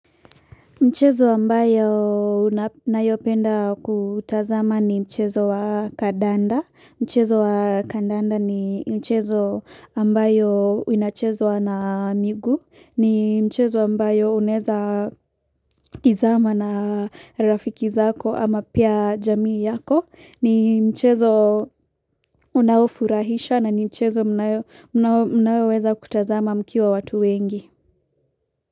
Mchezo ambayo unayopenda kutazama ni mchezo wa Kadanda, mchezo wa Kadanda ni mchezo ambayo unachezwa na migu, ni mchezo ambayo uneza. Tizama na rafiki zako ama pia jamii yako, ni mchezo. Unaofurahisha na ni mchezo unayoweza kutazama mkiwa watu wengi.